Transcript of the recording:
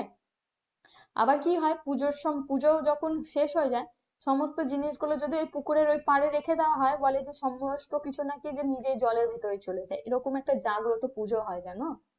আবার কি হয় পুজোর সময় পুজোর যখন শেষ হয়ে যায় সমস্ত জিনিসগুলো যদি ওই পুকুরে পাড়ে রেখে দেওয়া হয় সমস্ত কিছু নাকি নিজেই জলের ভেতরে চলে যায় এই রকম একটা দারুন একটা পূজা হয় জানো?